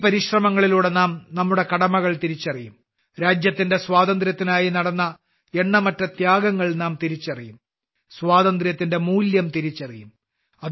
ഈ പരിശ്രമങ്ങളിലൂടെ നാം നമ്മുടെ കടമകൾ തിരിച്ചറിയും രാജ്യത്തിന്റെ സ്വാതന്ത്ര്യത്തിനായി നടന്ന എണ്ണമറ്റ ത്യാഗങ്ങൾ നാം തിരിച്ചറിയും സ്വാതന്ത്ര്യത്തിന്റെ മൂല്യം തിരിച്ചറിയും